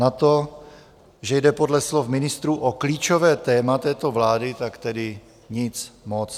Na to, že jde podle slov ministrů o klíčové téma této vlády, tak tedy nic moc!